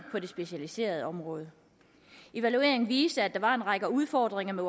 det specialiserede områder evalueringen viste at der var en række udfordringer med